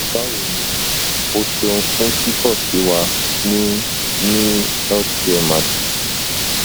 bawo ni o ṣeun fun kikọ si wa ni ni healthcaremagic